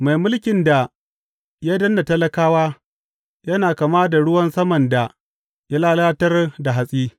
Mai mulkin da ya danne talakawa yana kama da ruwan saman da ya lalatar da hatsi.